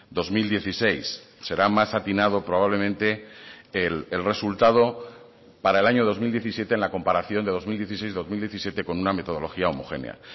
dos mil dieciséis será más atinado probablemente el resultado para el año dos mil diecisiete en la comparación de dos mil dieciséis dos mil diecisiete con una metodología homogénea